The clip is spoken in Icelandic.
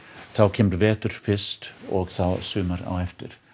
þá kemur vetur fyrst og þá sumar á eftir